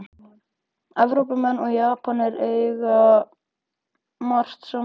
Evrópumenn og Japanir eiga margt sameiginlegt